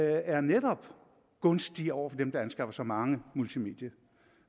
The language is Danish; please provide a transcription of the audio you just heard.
er netop gunstig over for dem der anskaffer sig mange multimedier